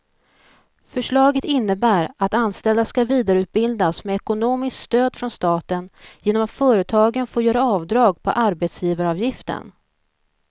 Förslaget innebär att anställda ska vidareutbildas med ekonomiskt stöd från staten genom att företagen får göra avdrag på arbetsgivaravgiften.